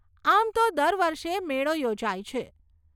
આમ તો દર વર્ષે મેળો યોજાય છે.